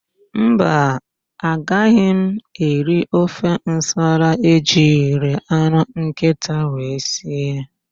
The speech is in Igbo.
Mba, agaghị m eri ofe nsala ejiri anụ nkịta wee sie.